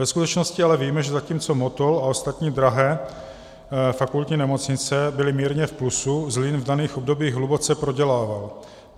Ve skutečnosti ale víme, že zatímco Motol a ostatní drahé fakultní nemocnice byly mírně v plusu, Zlín v daných obdobích hluboce prodělával.